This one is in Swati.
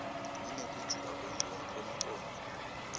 inekujula kwemcondvo futsi